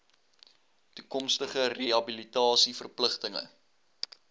toekomstige rehabilitasie verpligtinge